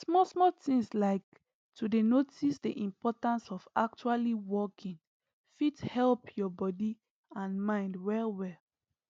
small small things like to dey notice the importance of actually walking fit help your body and mind well well